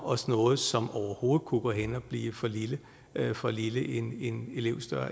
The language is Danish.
os noget som overhovedet kunne gå hen og blive for lille for lille